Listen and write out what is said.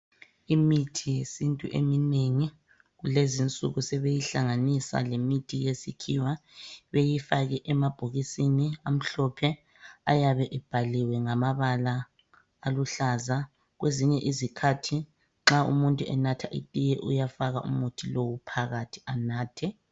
Imithi yesintu eminengi kulezinsuku sebeyihlanganisa lemithi yesikhiwa beyifake emabhokisini amhlophe ayabe ebhaliwe ngamabala aluhlaza. Kwezinye izikhathi nxa umuntu enatha itiye uyafaka umuthi lo phakathi anathe.